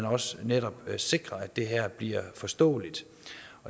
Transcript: også netop sikrer at det her bliver forståeligt